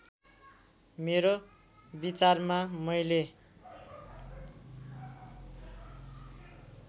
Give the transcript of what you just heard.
मेरो विचारमा मैले